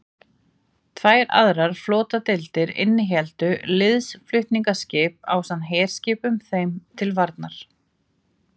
Tvær aðrar flotadeildir innihéldu liðsflutningaskip ásamt herskipum þeim til varnar.